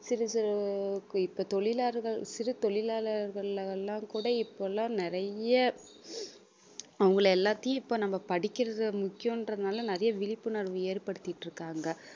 சிறு சிறு~ இப்ப தொழிலாளர்கள் சிறு தொழிலாளர்கள் எல்லாம் கூட இப்பெல்லாம் நிறைய அவங்களை எல்லாத்தையும் இப்ப நம்ம படிக்கிறதை முக்கியம்ன்றதுனால நிறைய விழிப்புணர்வு ஏற்படுத்திட்டு இருகாங்க